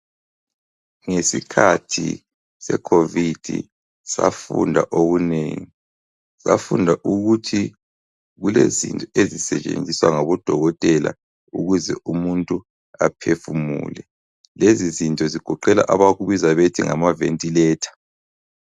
Ngesikhathi seCovid safunda okunengi. Safunda ukuthi kulezinto ezisetshenziswa ngabodokotela ukuze umuntu aphefumule. Lezizinto zigoqela abakubiza bethi ngamaventiletha.